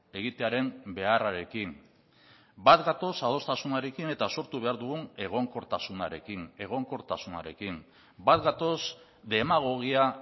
egitearen beharrarekin bat gatoz adostasunarekin eta sortu behar dugun egonkortasunarekin egonkortasunarekin bat gatoz demagogia